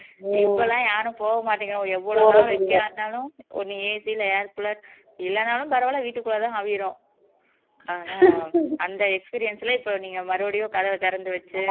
இப்ப எல்லாம் யாரும் போக மாட்டேங்கிறாங்க எவ்வளவு தூரம் எங்க இருந்தாலும் நீ ஒண்ணு AC ல air cooler இல்லைன்னாலும் பரவாயில்லை வீட்டுக்குள்ளதான் கவ்விரும் ஆனா அந்த experience ல இப்ப நீங்க மறுபடியும் கதவை திறந்து வச்சு